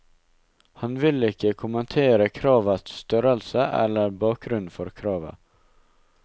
Han vil ikke kommentere kravets størrelse eller bakgrunnen for kravet.